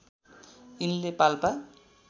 यिनले पाल्पा